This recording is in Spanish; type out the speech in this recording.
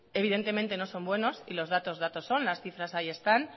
evidentemente no son buenos y los datos datos son las cifras ahí están